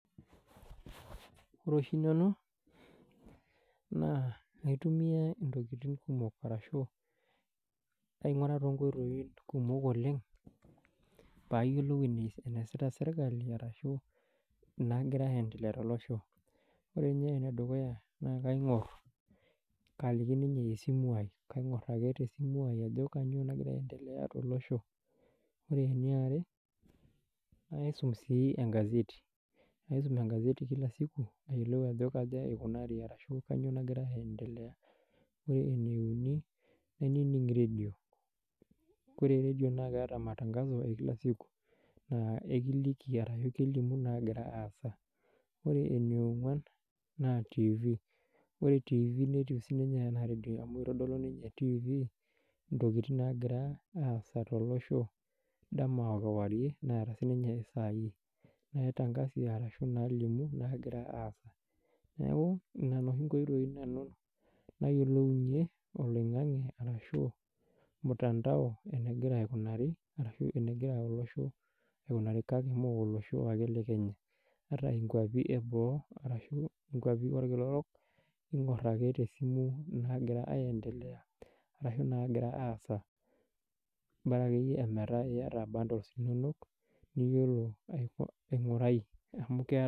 Wore oshi nanu, naa kaitumia intokitin kumok arashu ainguraa toonkoitoi kumok oleng', pee ayielou eneesita serkali arashu inaakira aendelea tolosho. Wore ninye enedukuya, naa kaingor, kaaliki ninye esimu ai. Kaingor ake tesimu ai ajo kainyoo nakira aendelea tolosho. Wore eniare, kaisum sii engazeti, kaisum engazeti kila siku, aayiolou ajo kaja ikunari ashu kainyoo nakira aendelea. Wore ene uni, kaining redio, kore redio naa keeta matangaso e kila siku, naa ekiliki ashu kelimu naakira aasa. Wore ene ongwan, naa tiifi, wore tiifi netiu sininye enaa radio amu itodolu ninye tiifi intokitin naakira aasa tolosho, dama o kewarie, neeta sininye isai naitangazie arashu naalimu naakira aasa. Neeku niana oshi inkoitoi nanu naayiolounye oloingange arashu mtandao enekira aikunari arashu enekira olosho aikunari kake mee olosho ake le Kenya, ata inkiuapin eboo arashu inkiuapin olkila orok, ingor ake tesimu inaakira aendelea, arashu inaakira aasa. Bora akeyie meeta iyata bundles inonok, niyiolo aingurai amu keeta